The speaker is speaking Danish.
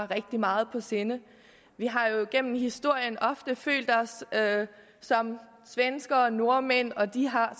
rigtig meget på sinde vi har jo gennem historien ofte følt os som svenskere og nordmænd og de har